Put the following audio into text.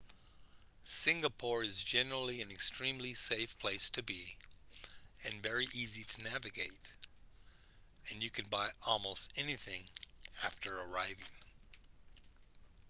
singapore is generally an extremely safe place to be and very easy to navigate and you can buy almost anything after arriving